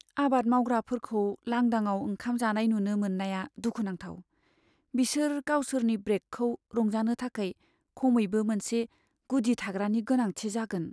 आबाद मावग्राफोरखौ लांदाङाव ओंखाम जानाय नुनो मोननाया दुखुनांथाव। बिसोर गावसोरनि ब्रेकखौ रंजानो थाखाय खमैबो मोनसे गुदि थाग्रानि गोनांथि जागोन।